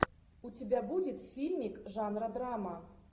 у тебя будет фильмик жанра драма